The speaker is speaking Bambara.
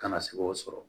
Kana se k'o sɔrɔ